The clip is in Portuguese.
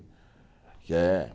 Que é